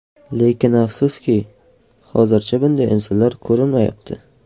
Lekin afsuski, hozircha bunday insonlar ko‘rinmayapti.